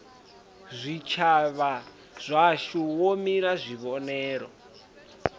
zwitshavha zwashu wo mila kuvhonele